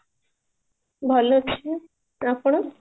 ଭଲ ଅଛି ଆପଣ?